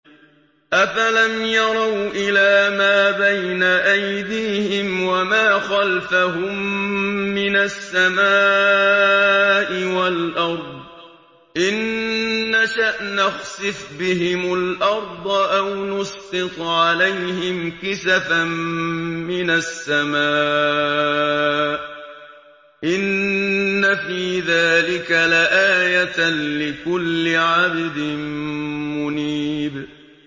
أَفَلَمْ يَرَوْا إِلَىٰ مَا بَيْنَ أَيْدِيهِمْ وَمَا خَلْفَهُم مِّنَ السَّمَاءِ وَالْأَرْضِ ۚ إِن نَّشَأْ نَخْسِفْ بِهِمُ الْأَرْضَ أَوْ نُسْقِطْ عَلَيْهِمْ كِسَفًا مِّنَ السَّمَاءِ ۚ إِنَّ فِي ذَٰلِكَ لَآيَةً لِّكُلِّ عَبْدٍ مُّنِيبٍ